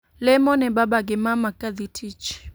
Lemo ne baba gi mama ka dhi tich